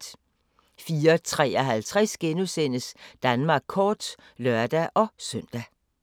04:53: Danmark kort *(lør-søn)